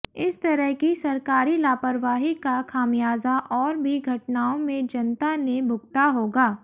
इस तरह की सरकारी लापरवाही का खामियाजा और भी घटनाओं में जनता ने भुगता होगा